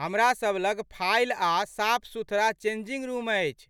हमरासब लग फइल आ साफ सुथरा चेंजिंग रुम अछि